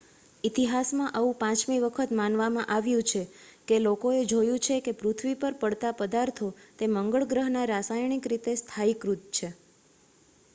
ઇતિહાસમાં આવું પાંચમી વખત માનવામાં આવ્યું છે કે લોકોએ જોયું છે કે પૃથ્વી પર પડતાં પદાર્થો તે મંગળ ગ્રહના રાસાયણિક રીતે સ્થાયીકૃત છે